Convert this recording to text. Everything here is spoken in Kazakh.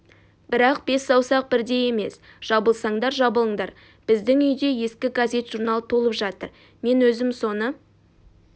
бірақ бес саусақ бірдей емес жабылсандар жабылыңдар біздің үйде ескі газет-журнал толып жатыр мен өзім соны